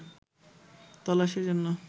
তল্লাশির জন্য